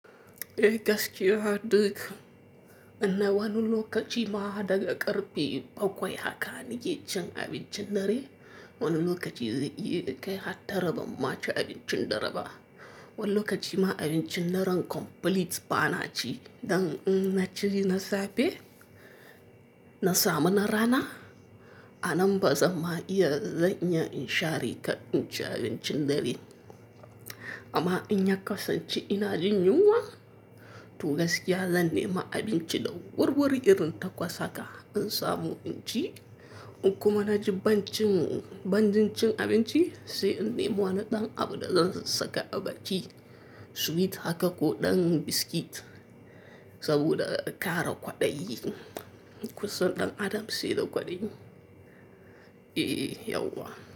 Eh gaskiya haddii, amma wani lokaci ma hada ga karɓe bakwai haka ni ke cin abincin dare, wani lokaci zai iya kai har tara bamma ci abincin dare ba. Wani lokaci ma abincin daren complete ba na ci dan in na ci na safe, na samu na rana, a nan ba zama iya zan iya in share kar in ci abincin dare. Amma in ya kasance ina jin yunwa, to gaskiya zan nema abinci da wurwuri irin ta kwasa ka in samu inci, in kuma na ji banjin cin abinci sai in nemo na ɗan abu da zan saka a baki, sweet haka ko ɗan biskit saboda kare kwaɗayi. Kusa ɗan adam sai da kwaɗayi. Eh yauwa.